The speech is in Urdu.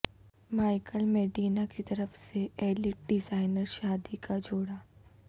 مائیکل میڈینا کی طرف سے ایلیٹ ڈیزائنر شادی کا جوڑا